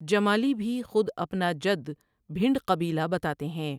جمالی بھی خود اپنا جد بھنڈ قبیلہ بتاتے ہیں ۔